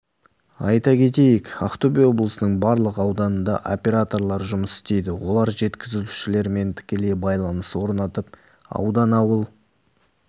айта кетейік ақтөбе облысының барлық ауданында операторлар жұмыс істейді олар жеткізушілермен тікелей байланыс орнатып аудан ауыл